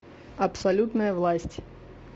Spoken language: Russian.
абсолютная власть